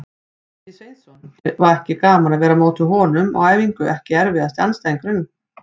Ingvi Sveinsson, ekki gaman að vera á móti honum á æfingu EKKI erfiðasti andstæðingur?